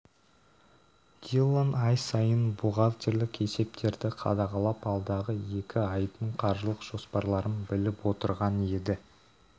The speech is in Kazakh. диллон ай сайын бухгалтерлік есептерді қадағалап алдағы екі айдың қаржылық жоспарларын біліп отырған еді